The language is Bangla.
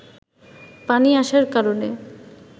পানি আসার কারণে